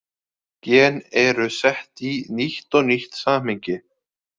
Gen eru sett í nýtt og nýtt samhengi.